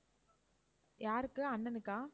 யாருக்கு அண்ணனுக்கா?